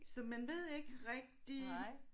Så man ved ikke rigtig